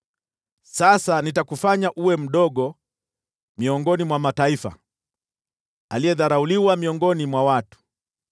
“Sasa nitakufanya uwe mdogo miongoni mwa mataifa, aliyedharauliwa miongoni mwa watu.